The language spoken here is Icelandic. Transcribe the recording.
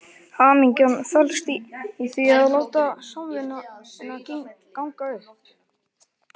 Hamingjan felst í því að láta samvinnuna ganga upp.